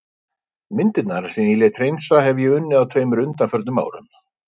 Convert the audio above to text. Myndirnar sem ég lét hreinsa hefi ég unnið á tveimur undanförnum árum.